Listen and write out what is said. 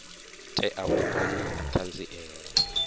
tea u vha na ṱhanziela